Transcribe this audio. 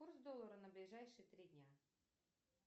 курс доллара на ближайшие три дня